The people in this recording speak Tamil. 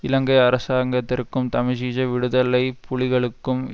இலங்கை அரசாங்கத்திற்கும் தமிஜீஜ விடுதலை புலிகளுக்கும்